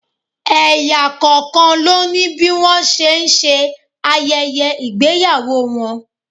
Ẹ̀yà kọ̀ọ̀kan ló ní bí wọ́n ṣe ń ṣe ayẹyẹ ìgbéyàwó wọn.